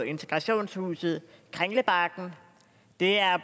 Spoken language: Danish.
integrationshuset kringlebakken det er